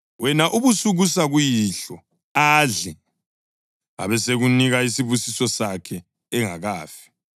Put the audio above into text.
Wena ubusukusa kuyihlo adle, abesekunika isibusiso sakhe engakafi.”